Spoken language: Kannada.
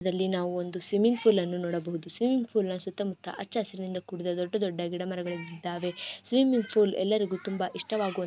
ದಲ್ಲಿ ನಾವು ಒಂದು ಸ್ವಿಮ್ಮಿಂಗ್ ಫುಲ್ ಅನ್ನು ನೋಡಬಹುದು ಸ್ವಿಮ್ಮಿಂಗ್ ಫುಲ್ ಸುತ್ತ ಮುತ್ತ ಹಚ್ಚ ಹಸಿರಿನಿಂದ ಕೂಡಿದ ದೊಡ್ಡ ದೊಡ್ಡ ಗಿಡ ಮರಗಳು ಬೆಳೆದಿದ್ದವೆ ಸ್ವಿಮ್ಮಿಂಗ್ ಫುಲ್ ‌ಎಲ್ಲರಿಗು ತುಂಬಾ ಇಷ್ಟವಾಗುವಂತ --